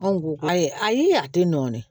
Anw ko ayi ayi a tɛ nɔɔni